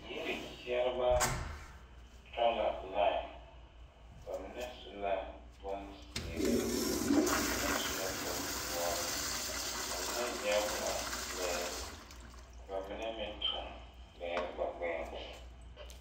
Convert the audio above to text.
Yiri kpeɛribɛ tɔŋ la lai ba mine su la bonzeere ba mine su la bondoɔre ba mine yɛre la lɛɛre ba mine meŋ tuŋ lɛɛre ba gbɛɛŋ.